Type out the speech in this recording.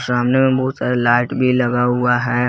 सामने में बहुत सारे लाइट भी लगा हुआ है।